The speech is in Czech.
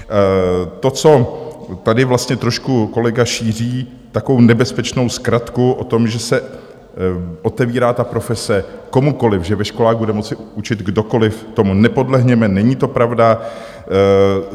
To, co tady vlastně trošku kolega šíří, takovou nebezpečnou zkratku o tom, že se otevírá ta profese komukoliv, že ve školách bude moci učit kdokoliv, tomu nepodlehněme, není to pravda.